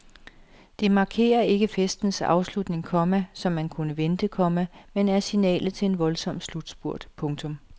Det markerer ikke festens afslutning, komma som man kunne vente, komma men er signalet til en voldsom slutspurt. punktum